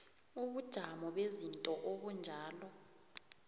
ubujamo bezinto obunjalo